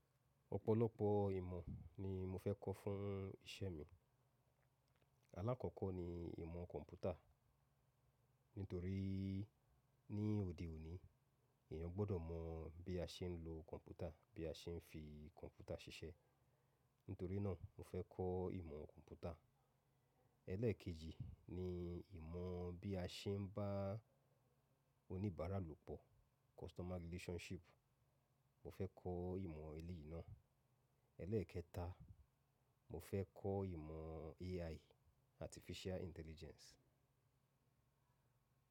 Ọ̀pọ̀lọpọ̀ ìmọ̀ ni mo fẹ́ kọ́ fún iṣẹ́ mi. Alákọ̀kọ́ ni ìmọ̀ kọ̀m̀pútà nítorí ní òde òní èèyàn gbọ́dọ̀ mọ bí a ṣe ń lo kọ̀m̀pútà, bí a ṣe ń fi kọ̀m̀pútà ṣiṣẹ́. Nítorí náà mo fẹ́ kọ́ ìmọ̀ kọ̀m̀pútà. Ẹlẹ́ẹ̀kejì ni ìmọ̀ bí a ṣe ń bá oníbàárà lòpọ̀, customer relationship. Mo fẹ́ kọ́ ìmọ̀ ilé ìná. Ẹlẹ́ẹ̀kẹta, mo fẹ́ kọ́ ìmọ̀ AI, artificial intelligence.